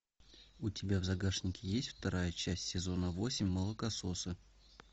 у тебя в загашнике есть вторая часть сезона восемь молокососы